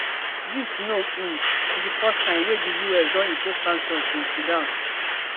dis no um be di first time wey di us don impose sanctions in sudan